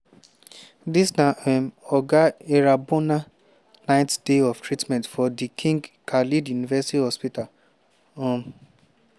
dis na um oga irambona ninth day of treatment for di king khaled university hospital. um